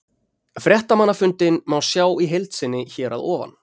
Fréttamannafundinn má sjá í heild sinni hér að ofan.